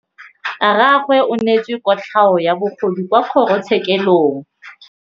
Rragwe o neetswe kotlhaô ya bogodu kwa kgoro tshêkêlông.